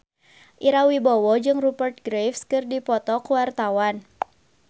Ira Wibowo jeung Rupert Graves keur dipoto ku wartawan